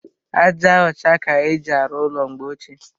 Aja ọcha ka éjị arụ ụlọ mgbe ochie.